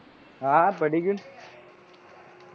હા હા પડી ગયું ને